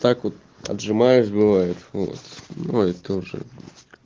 так вот отжимаешь бывает вот ой тоже